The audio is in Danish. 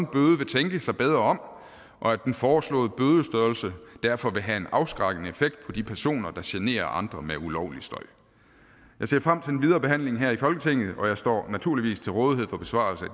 bøde vil tænke sig bedre om og at den foreslåede bødestørrelse derfor vil have en afskrækkende effekt på de personer der generer andre med ulovlig støj jeg ser frem til den videre behandling her i folketinget og jeg står naturligvis til rådighed for besvarelse af